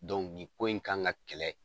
nin ko in kan ka kɛlɛ